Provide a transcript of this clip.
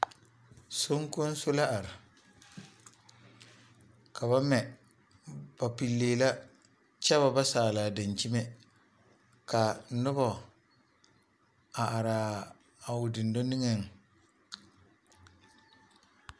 Soŋkonso la are ka ba mɛ ,ba pilii la kyɛ ba ba saale a dankyimɛ ka noba a are a o dendɔ niŋe .